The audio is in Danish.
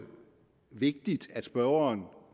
vigtigt at spørgeren